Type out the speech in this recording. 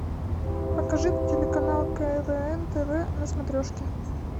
покажи телеканал квн тв на смотрешке